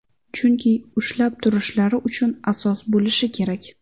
Chunki ushlab turishlari uchun asos bo‘lishi kerak.